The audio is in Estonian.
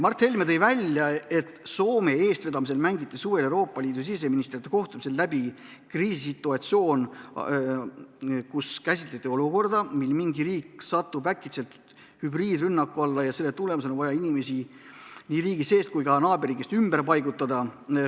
Mart Helme andis teada, et Soome eestvedamisel mängiti suvel Euroopa siseministrite kohtumisel läbi kriisisituatsioon, kus käsitleti olukorda, kus mingi riik satub äkitselt hübriidrünnaku alla ja selle tagajärjel on vaja inimesi nii riigi sees kui ka naaberriigist tulijaid ümber paigutada.